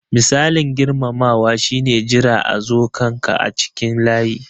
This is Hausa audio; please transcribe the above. Misalin girmamawa shi ne jira a zo kan ka a cikin layi.